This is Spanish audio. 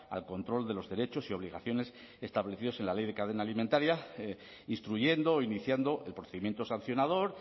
al control de los derechos y obligaciones establecidos en la ley de cadena alimentaria instruyendo o iniciando el procedimiento sancionador